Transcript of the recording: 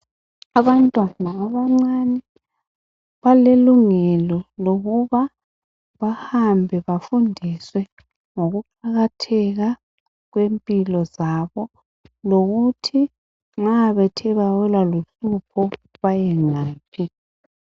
Abantwana abancane balelungelo lokuba bahambe bafundiswe ngokuqakatheka kwempilo zabo, lokuthi nxa bethe bawela luhlupho bayengaphi.